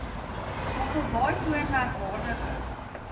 mosselbaai toon merkwaardige